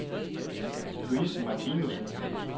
Louise Martinussen